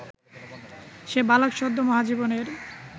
সে বালক সদ্য মহাজীবনের